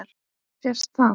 Sést það?